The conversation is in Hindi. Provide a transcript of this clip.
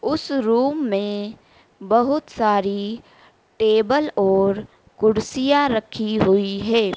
उस रूम में बहुत सारी टेबल और कुर्सियां रखी हुई हैं।